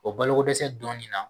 O baloko dɛsɛ donnin na